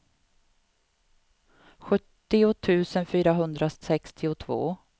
sjuttio tusen fyrahundrasextiotvå